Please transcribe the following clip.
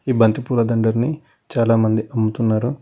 ఈ బంతి పూల దండని చాలామంది అమ్ముతున్నారు.